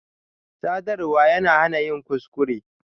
Sadarwa yana hana yin kuskure.